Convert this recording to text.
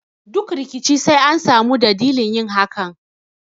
Duk rikici sai an sami dadilin yin hakan